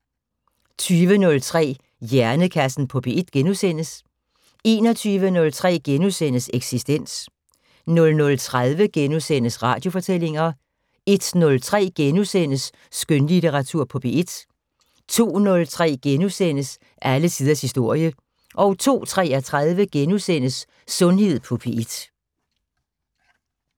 20:03: Hjernekassen på P1 * 21:03: Eksistens * 00:30: Radiofortællinger * 01:03: Skønlitteratur på P1 * 02:03: Alle tiders historie * 02:33: Sundhed på P1 *